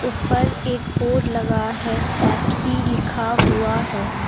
ऊपर एक बोर्ड लगा है पेप्सी लिखा हुआ है।